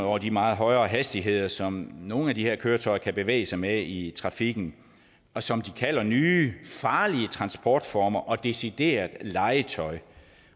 over de meget højere hastigheder som nogle af de her køretøjer kan bevæge sig med i trafikken og som de kalder for nye farlige transportformer og decideret legetøj